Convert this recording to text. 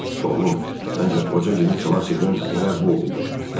Oğlum, məncə qoca Cim ixlas edən elə bu oldu.